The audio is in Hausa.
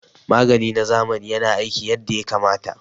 Magani na zamani yana aiki yadda ya kamata